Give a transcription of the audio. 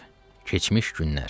Keçmiş günlər.